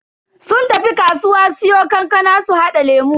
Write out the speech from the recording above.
Sun tafi kasuwa siyo kankana su hada lemu.